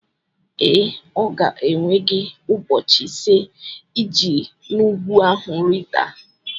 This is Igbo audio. Ee, ọ ga-ewe gị ụbọchị ise iji si n'ugwu ahụ rịdata